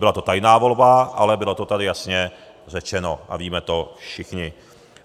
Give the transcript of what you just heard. Byla to tajná volba, ale bylo to tady jasně řečeno a víme to všichni.